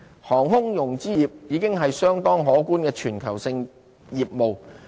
航空融資業已經是相當可觀的全球性業務。